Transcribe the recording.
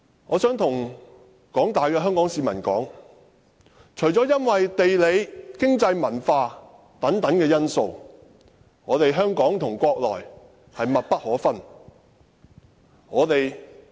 我想告訴廣大香港市民，因為地理、經濟、文化等因素，香港與國內是密不可分的。